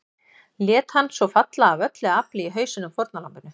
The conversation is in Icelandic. Lét hann svo falla AF ÖLLU AFLI í hausinn á fórnarlambinu.